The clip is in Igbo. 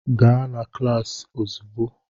Gaa na kịlasị ozigbo!